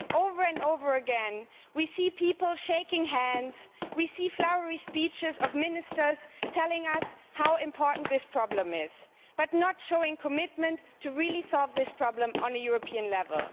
Instead, over and over again, we see people shaking hands and hear flowery speeches by Ministers telling us how important this problem is, but not showing commitment to really solving this problem at a European level.